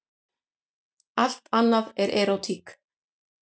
Allt annað er erótík.